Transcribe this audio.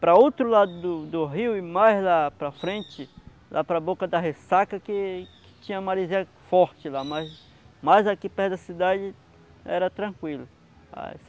Para outro lado do do rio e mais lá para frente, lá para Boca da Ressaca que que tinha marizia forte lá, mas mais aqui perto da cidade era tranquilo.